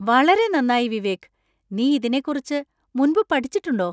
വളരെ നന്നായി വിവേക്! നീ ഇതിനെക്കുറിച്ച് മുൻപ് പഠിച്ചിട്ടുണ്ടോ?